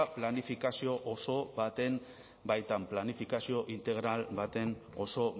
planifikazio oso baten baitan planifikazio integral baten oso